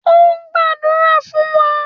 O ń gbadura fun wa.